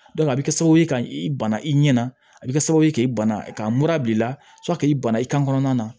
a bɛ kɛ sababu ye ka i bana i ɲɛna a bɛ kɛ sababu ye k'i bana ka mura b'i la k'i bana i kan kɔnɔna na